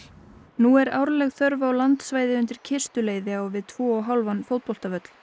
nú er árleg þörf á landsvæði undir kistuleiði á við tvo og hálfan fótboltavöll